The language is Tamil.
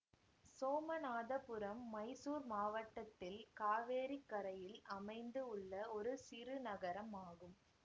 சோமநாதபுரம் மைசூர் மாவட்டத்தில் காவேரிக்கரையில் அமைந்து உள்ள ஒரு சிறு நகரம் ஆகும்